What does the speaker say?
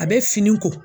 A bɛ fini ko